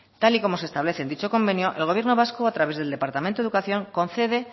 tal y como se establece en dicho convenio el gobierno vasco a través del departamento de educación concede